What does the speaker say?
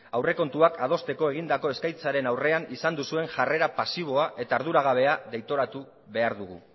aurrekontuak adosteko egindako eskaintzaren aurrean izan duzuen jarrera pasiboa eta arduragabea deitoratu behar dugu